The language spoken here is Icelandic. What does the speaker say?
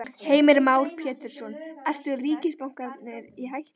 Heimir Már Pétursson: Eru ríkisbankarnir í hættu?